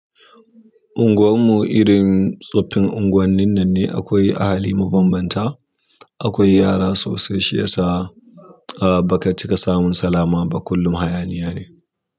Unguwar mu irin tsoffin unguwannin nan ne akwai ahali mabambanta, akwai yara sosai shi yasa ba ka cika samun salama ba kullum hayani ya ne.